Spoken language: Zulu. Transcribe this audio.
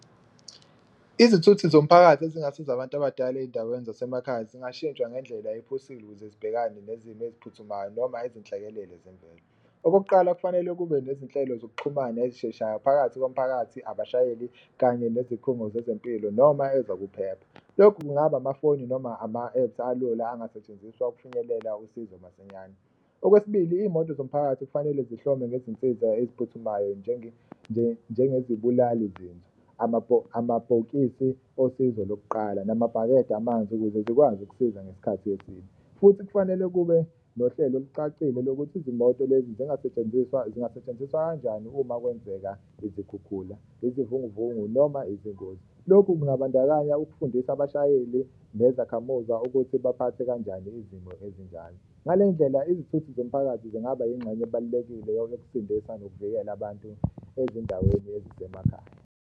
Izithuthi zomphakathi ezingasiza abantu abadala ey'ndaweni zasemakhaya zingashintshwa ngendlela ephusile ukuze zibhekane nezimo eziphuthumayo noma izinhlekelele zemvelo. Okokuqala, kufanele kube nezinhlelo zokuxhumana ezisheshayo phakathi komphakathi, abashayeli kanye nezikhungo zezempilo noma ezokuphepha, lokhu kungaba amafoni noma ama-apps alula angasetshenziswa ukufinyelela usizo masinyane. Okwesibili, iy'moto zomphakathi kufanele zihlome ngezinsiza eziphuthumayo njengezibulali zinzwa, amabhokisi osizo lokuqala namabhakede amanzi ukuze zikwazi ukusiza ngesikhathi esibi. Futhi kufanele kube nohlelo olucacile lokuthi izimoto lezi zingasetshenziswa zingasetshenziswa kanjani uma kwenzeka izikhukhula, izivunguvungu noma izingozi, lokhu kungabandakanya ukufundisa abashayeli nezakhamuza ukuthi baphathe kanjani izimo ezinjalo. Ngale ndlela, izithuthi zomphakathi zingaba ingxenye ebalulekile yokusindisa nokuvikela abantu ezindaweni ezisemakhaya.